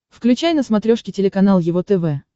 включай на смотрешке телеканал его тв